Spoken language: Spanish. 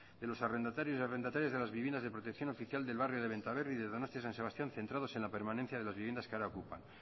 de los arrendatarios y arrendatarias de las viviendas de protección oficial del barrio de benta berri de donostia san sebastián centrados en la permanencia de las viviendas que ahora ocupa